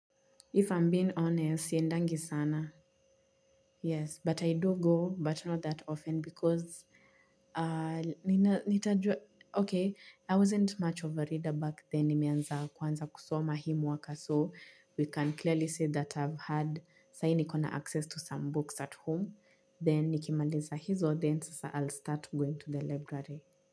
If I'm being honest, siendangi sana. Yes, but I do go, but not that often because nitajua Okay, I wasn't much of a reader back then. Nimeanza kwanza kusoma hii mwaka. So, we can clearly say that I've had Sai nikona access to some books at home. Then nikimaliza hizo, then sasa I'll start going to the library.